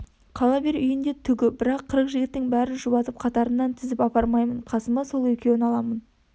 қала бер үйінде түгі бірақ қырық жігіттің бәрін шұбатып қатарынан тізіп апармаймын қасыма сол екеуін аламын